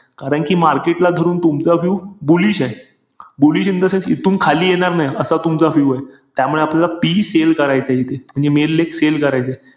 कारण कि market ला धरून तुमचा view bullish ए. bullish in the sense इथून खाली येणार नाही. असा तुमचा view ए. त्यामुळे आपल्याला PE sell करायचाय इथे. म्हणजे main leg sell करायचाय.